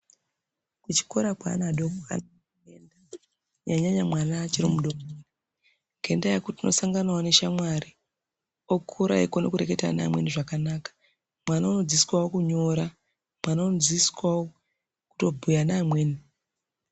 Kuchikora kweana adoko kwakanaka kunyanya nyanya mwana achiri mudoko ngendaya yekuti unosanganawo neshamwari okura eikona kureketa neamweni zvakanaka mwana unodzidziswawo kunyora mwana unodzidziswawo kutobhuya neamweni .